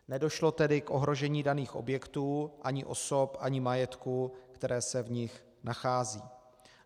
Nedošlo tedy k ohrožení daných objektů ani osob ani majetku, které se v nich nacházejí.